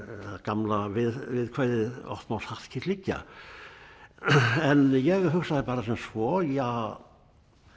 er gamla viðkvæðið oft má satt kyrrt liggja en ég hugsaði bara sem svo ja